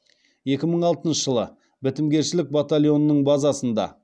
екі мың алтыншы жылы бітімгершілік батальонының базасында